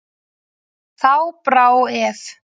Þá brá ef.